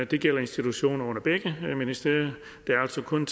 det gælder institutioner under begge ministerier der er altså kun